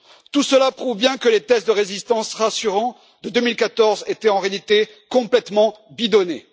Tout cela prouve bien que les tests de résistance rassurants de 2014 étaient, en réalité, complètement bidonnés.